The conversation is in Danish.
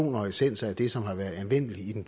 vil jeg